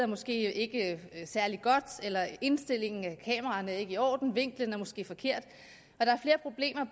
måske ikke særlig godt eller indstillingen af kameraerne er ikke i orden vinklen er måske forkert